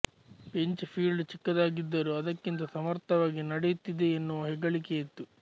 pinch field ಚಿಕ್ಕದಾಗಿದ್ದರು ಅದಕ್ಕಿಂತ ಸಮರ್ಥವಾಗಿ ನಡೆಯುತ್ತಿದೆ ಎನ್ನುವ ಹೆಗ್ಗೆಳಿಕೆಯಿತ್ತು